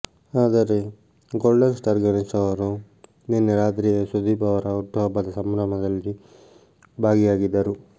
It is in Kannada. ಆದರೆ ಗೋಲ್ಡನ್ ಸ್ಟಾರ್ ಗಣೇಶ್ ಅವರು ನಿನ್ನೆ ರಾತ್ರಿಯೇ ಸುದೀಪ್ ಅವರ ಹುಟ್ಟುಹಬ್ಬದ ಸಂಭ್ರಮದಲ್ಲಿ ಭಾಗಿಯಾಗಿದ್ದರು